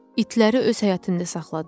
İtləri öz həyətində saxladım.